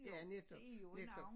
Ja netop netop